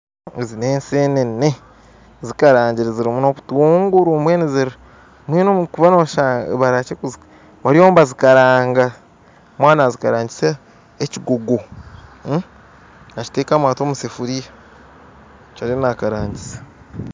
Ezi n'enseenene zikaragire kandi zirimu n'obutunguru bariyo nibazikaraaga omwana ariyo nazikarangyisa ekiguugu nakiteekamu ati omu sefuria nikyo ariyo nazikaringisa